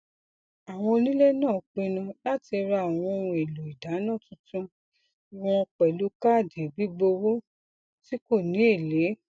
àwọn onílé náà pinnu láti ra àwọn ohun èlò ìdáná tuntun wọn pẹlú káàdì gbígbówó tí kò ní èlé